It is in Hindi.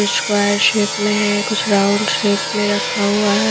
स्क्वायर शेप में है कुछ राउंड शेप में रखा हुआ है।